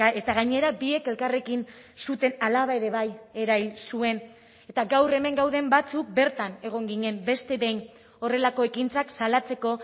eta gainera biek elkarrekin zuten alaba ere bai erahil zuen eta gaur hemen gauden batzuk bertan egon ginen beste behin horrelako ekintzak salatzeko